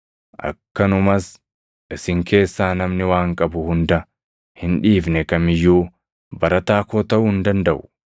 Akkanumas isin keessaa namni waan qabu hunda hin dhiifne kam iyyuu barataa koo taʼuu hin dandaʼu.